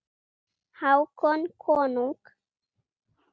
Hákon konung.